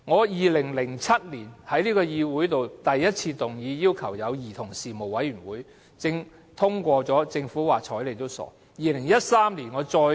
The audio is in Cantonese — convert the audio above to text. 2007年，我第一次在議會動議要求成立兒童事務委員會，議案獲得通過，但政府就是懶得理。